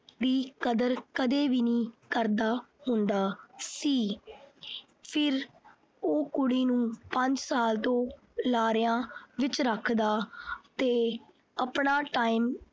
ਦੀ ਕਦਰ ਕਦੇ ਵੀ ਨਹੀਂ ਕਰਦਾ ਹੁੰਦਾ ਸੀ। ਫਿਰ ਉਹ ਕੁੜੀ ਨੂੰ ਪੰਜ ਸਾਲ ਤੋਂ ਲਾਰਿਆਂ ਵਿੱਚ ਰੱਖਦਾ ਤੇ ਆਪਣਾ time